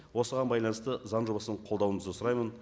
осыған байланысты заң жобасын қолдауыңызды сұраймын